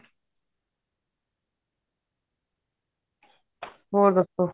ਹੋਰ ਦੱਸੋ